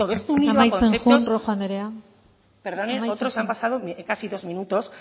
amaitzen joan rojo anderea perdone otros se han pasado en casi dos minutos